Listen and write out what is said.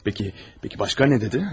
Bəs, bəs başqa nə dedi?